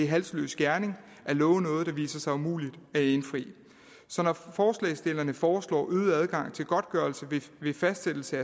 halsløs gerning at love noget der viser sig umuligt at indfri som når forslagsstillerne foreslår øget adgang til godtgørelse ved fastsættelse